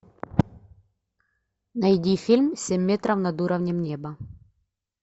найди фильм семь метров над уровнем неба